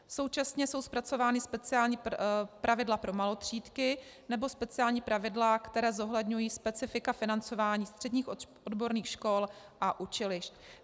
Současně jsou zpracována speciální pravidla pro malotřídky nebo speciální pravidla, která zohledňují specifika financování středních odborných škol a učilišť.